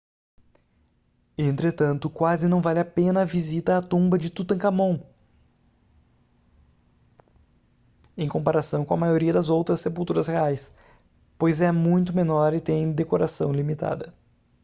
entretanto quase não vale a pena a visita à tumba de tutancâmon em comparação com a maioria das outras sepulturas reais pois é muito menor e tem decoração limitada